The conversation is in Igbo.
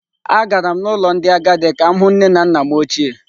Agara m n’ụlọ ndị agadi ka m hụ nne na nna m ochie.